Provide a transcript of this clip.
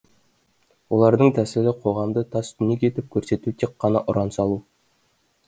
олардың тәсілі қоғамды тас түнек етіп көрсету тек қана ұран салу